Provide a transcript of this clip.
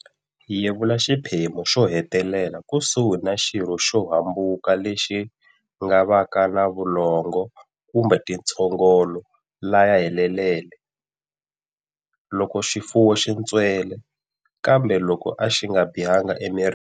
Yevula xiphemu xo hetelela kusuhi na xirho xo hambuka lexi nga va ka na vulongo kumbe tintshogolo laya helelele. Loko xifuwo xi ntswele, kambe loko a xi nga bihangi emirini.